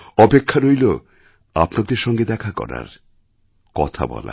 অপেক্ষা রইল আপনাদের সঙ্গে দেখা করার কথা বলার